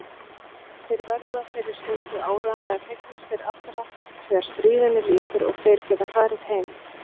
Þeir verða þeirri stundu áreiðanlega fegnastir allra þegar stríðinu lýkur og þeir geta farið heim.